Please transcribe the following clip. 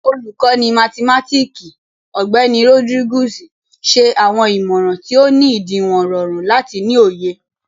Olukọni mathimatiki, Ọgbẹni Rodriguez, ṣe awọn imọran ti o ni idiwọn rọrun lati ni oye.